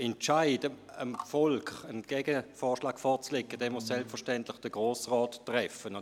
Der Entscheid, dem Volk einen Gegenvorschlag vorzulegen, muss selbstverständlich vom Grossen Rat getroffen werden.